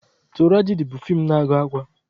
Turajadi bụ fii na-agụ akwa.